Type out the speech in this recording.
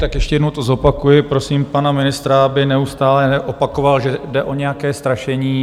Tak ještě jednou to zopakuji, prosím pana ministra, aby neustále neopakoval, že jde o nějaké strašení.